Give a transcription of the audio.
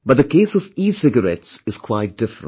But the case of ecigarettes is quite different